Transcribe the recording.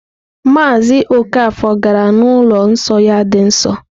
Maazị Okafor gara n'ụlọ nsọ ya dị nsọ.